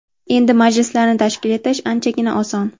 Endi majlislarni tashkil etish anchagina oson.